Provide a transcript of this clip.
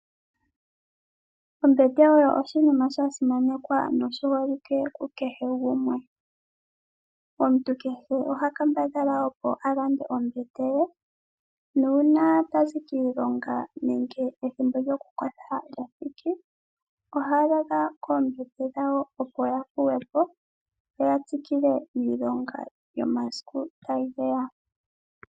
Ombete oyo oshinima sha simanekwa noshi holike ku kehe gumwe. Omuntu kehe oha kambadhala, opo alande ombete ye, nuuna tazi kiilonga nenge ethimbo lyoku kotha lya thiki, ohaya lala koombete dhawo, opo ya thuwe po yo ya tsikile iilonga yomasiku ta geya.